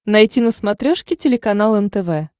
найти на смотрешке телеканал нтв